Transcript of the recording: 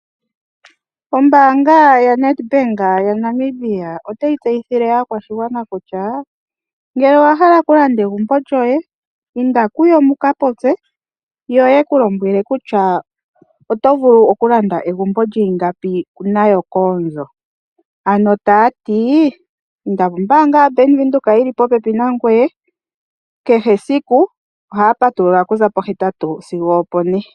Ombaanga yaNedbank yaNamibia ota yi tseyithile aakwashigwana kutya, ngele owa hala okulanda egumbo lyoye inda kuyo muka popye, yo ye ku kulombwela kutya oto vulu okulanda egumbo lyiingapi nayo koondjo. Ano taati, inda kombaanga yo Nedbank yili popepi nangoye kehe esiku oha ya patulula okuza po8 sigo 4.